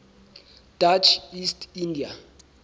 dutch east india